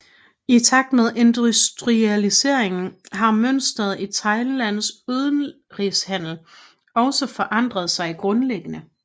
I takt med industrialiseringen har mønsteret i Thailands udenrigshandel også forandret sig grundlæggende